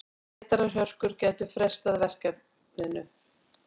Vetrarhörkur gætu frestað verkefninu.